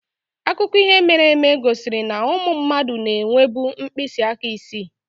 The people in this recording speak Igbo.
Akụkọ ihe mere eme gosiri na ụmụ mmadụ na-enwebu mkpịsị aka isii.